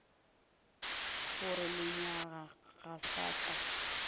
gore lenyaga ga sa ka